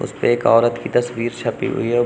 एक औरत की तस्वीर छपी हुई है।